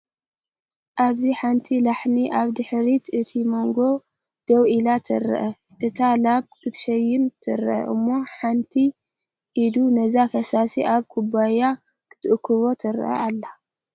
ኣብዚ ሓንቲ ላሕሚ ኣብ ድሕሪት እቲ መጓሰ ደው ኢላ ትርአ። እታ ላም ክትሽነን ትረአ እሞ ሓንቲ ኢድ ነዚ ፈሳሲ ኣብ ኩባያ ክትእክቦ ትርአ ኣላ።